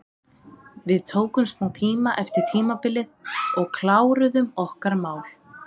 Við tókum smá tíma eftir tímabilið og kláruðum okkar mál.